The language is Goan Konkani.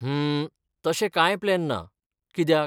हम्म, तशे कांय प्लॅन ना , कित्याक?